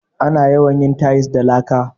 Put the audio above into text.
Ana yawan yin tayis da laka.